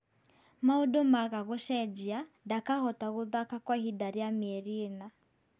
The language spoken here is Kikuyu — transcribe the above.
Maũndũ maga gũcenjia, ndakahota gũthaka kwa ihinda rĩa mieri ĩna